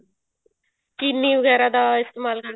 ਚਿੰਨੀ ਵਗੈਰਾ ਦਾ ਇਸਤੇਮਾਲ ਕਰ